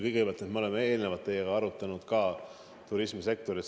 Kõigepealt, me oleme teiega arutanud ka turismisektori probleeme.